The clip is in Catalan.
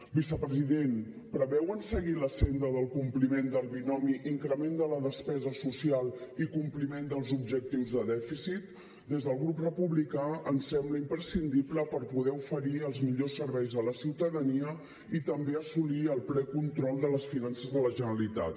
vicepresident preveuen seguir la senda del compliment del binomi increment de la despesa social i compliment dels objectius de dèficit des del grup republicà ens sembla imprescindible per poder oferir els millors serveis a la ciutadania i també assolir el ple control de les finances de la generalitat